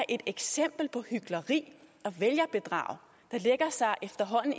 et eksempel på hykleri og vælgerbedrag der efterhånden